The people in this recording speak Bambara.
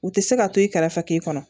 U tɛ se ka to i kɛrɛfɛ k'i kɔnɔ